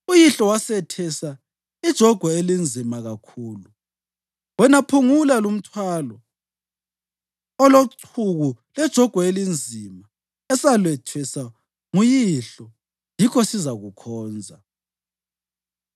“Uyihlo wasethesa ijogwe elinzima kakhulu, wena phungula lumthwalo olochuku lejogwe elinzima esaletheswa nguyihlo, yikho sizakukhonza.”